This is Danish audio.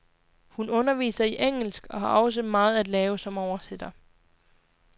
Hun underviser i engelsk og også har meget at lave som oversætter.